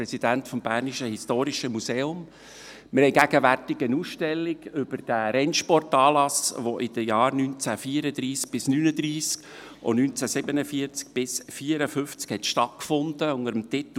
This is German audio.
Wir haben gegenwärtig unter dem Titel «Grand Prix Suisse, Bern im Rennfieber» eine Ausstellung über den Rennsportanlass, der in den Jahren 1934–1939 und 1947–1954 stattgefunden hat.